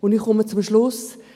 Ich komme zum Schluss.